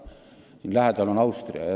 Meie lähedal oli Austria.